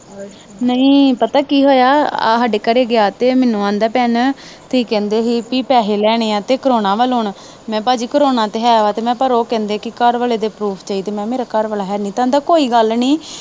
ਨਹੀਂ ਪਤਾ ਕੀ ਹੋਇਆ, ਸਾਡੇ ਘਰੇ ਗਿਆ ਤੇ ਮੈਨੂੰ ਕਹਿੰਦਾ ਭੈਣੇ ਤੂੰ ਪੈਸੇ ਲੈਣੇ ਆ ਤੇ ਕੋਰੋਨਾ ਮੈਂ ਕਿਹਾ ਭਾਜੀ, ਕੋਰੋਨਾ ਤਾਂ ਹੈ ਤੇ ਉਹ ਕਹਿੰਦੇ ਆ ਘਰ ਆਲੇ ਦੇ ਪਰੂਫ ਚਾਹੀਦੇ ਆ। ਮੈਂ ਕਿਹਾ ਮੇਰਾ ਘਰ ਆਲਾ ਹੈ ਨੀ, ਕਹਿੰਦਾ ਕੋਈ ਗੱਲ ਨੀ।